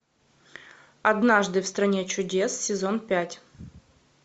однажды в стране чудес сезон пять